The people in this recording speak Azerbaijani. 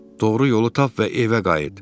Doğru yolu tap və evə qayıt.